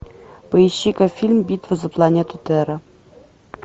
поищи ка фильм битва за планету терра